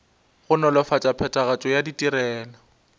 go nolofatša phethagatšo ya ditirelo